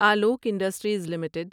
Alok industries limited